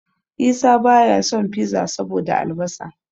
Isa baya son Fiza saboda albasa.